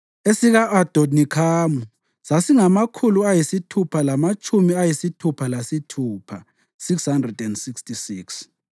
esika-Adonikhamu sasingamakhulu ayisithupha lamatshumi ayisithupha lasithupha (666),